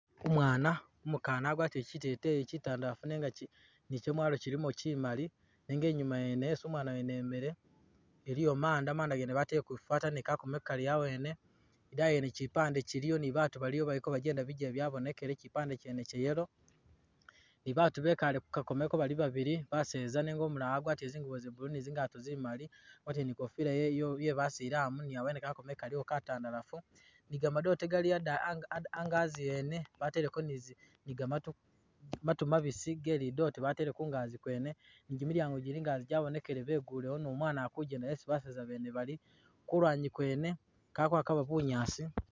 Umwana umukana agwatile kyiteteyi kyitandafu nikyamwalo kyilimo kyimali nenga inyuma yene isi umwana yene imile iliyo manda batale ku fataliza ni kakomo kali awene edayi iyo iliyo kyipande Kyiliwo ni babantu Bikale kukakomeko Bali babili baseza nenga umulala agwatile zingubo za’blue ni zingato zi’ mali agwatile ni kofila ye’basilamu ni awene kaliwo kakomeko katandafu ni gamadote gali angazi wene bateliko ni gamatu mabisi batele kungazi kwene negamadinisa gabonekele ni umwana akujenda isi baseza bene bali, kulwanyi kwene pako yade bunyaasi